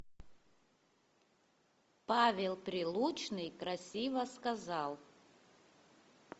павел прилучный красиво сказал